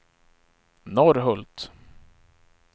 Norrhult